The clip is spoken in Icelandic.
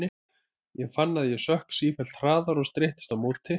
Ég fann að ég sökk sífellt hraðar og streittist á móti.